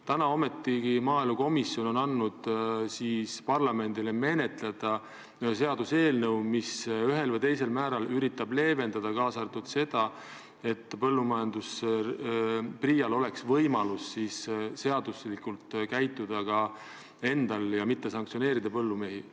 Täna on maaelukomisjon ometigi andnud parlamendile menetleda ühe seaduseelnõu, mis ühel või teisel määral üritab leevendada ka seda, et PRIA-l oleks võimalik seaduslikult käituda ja põllumehi mitte sanktsioneerida.